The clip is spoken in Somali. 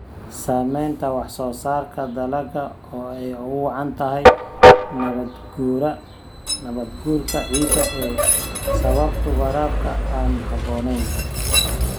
Saamaynta wax-soo-saarka dalagga oo ay ugu wacan tahay nabaad-guurka ciidda ee ay sababto waraabka aan habboonayn.